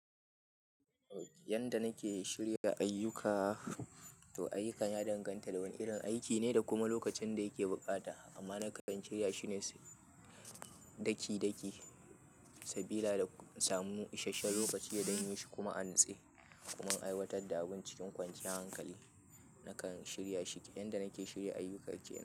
Yanda nake shirya ayyuka, to ayyukan ya danganta da wane irin aiki ne da kuma lokacin da yake buƙata. Amma na kan shirya shi ne daki-daki sabida in samu isasshen lokaci don yi shi kuma a nutse. Kuma in aiwatar da abun cikin kwanciyar hankali, na kan shirya shi yanda nake shirya ayyuka kenan.